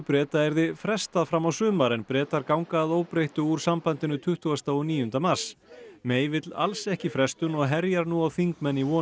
Breta yrði frestað fram á sumar en Bretar ganga að óbreyttu úr sambandinu tuttugasta og níunda mars vill alls ekki frestun og herjar nú á þingmenn í von